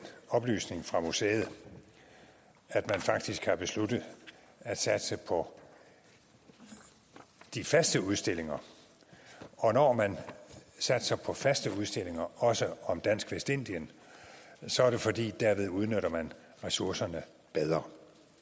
oplysning fra museet at man faktisk har besluttet at satse på de faste udstillinger og når man satser på faste udstillinger også om dansk vestindien så er det fordi man derved udnytter ressourcerne bedre